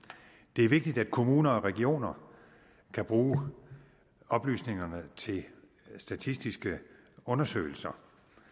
det er vigtigt at kommuner og regioner kan bruge oplysningerne til statistiske undersøgelser